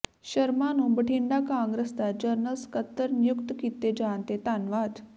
ਸਰਮਾਂ ਨੂੰ ਬਠਿੰਡਾ ਕਾਂਗਰਸ ਦਾ ਜਰਨਲ ਸਕੱਤਰ ਨਿਯੁਕਤ ਕੀਤੇ ਜਾਣ ਤੇ ਧੰਨਵਾਦ